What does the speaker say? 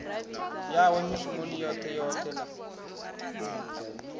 yawe mishumoni yoṱhe yoṱhe na